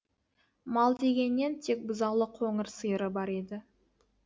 мал дегеннен тек бұзаулы қоңыр сиыры бар еді